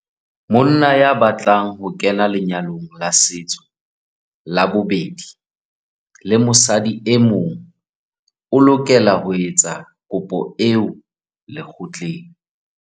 Monna ya batlang ho kena lenyalong la setso la bobedi le mosadi e mong o lokela ho etsa kopo eo lekgotleng.